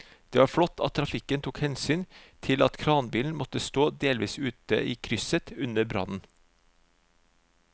Det var flott at trafikken tok hensyn til at kranbilen måtte stå delvis ute i krysset under brannen.